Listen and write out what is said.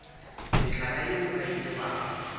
mehlala yeo a e tsebago